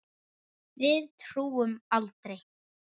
Við túrum aldrei!